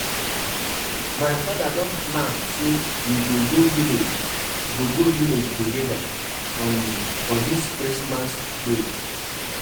Why dis people dey delay us like dis and the festival go start anytime now